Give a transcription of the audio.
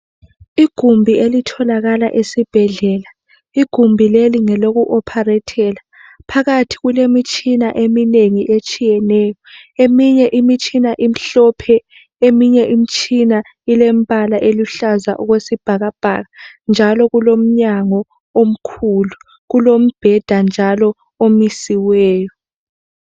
Igumbi elitholakala esibhedlela igumbi leli ngelokuOpharethele phakathi kulemitshina eminengi etshiyeneyo eminye imitshina imhlophe eminye imitshina ilembala eluhlaza okwesibhakabhaka njalo kulomnyango omkhulu kulombheda njalo omisiweyo.